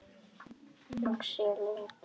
Axel Ingi.